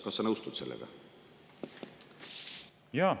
Kas sa nõustud sellega?